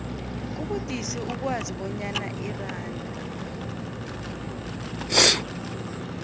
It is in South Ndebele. kubudisi ukwazi bonyana iranda